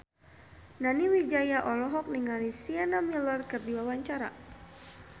Nani Wijaya olohok ningali Sienna Miller keur diwawancara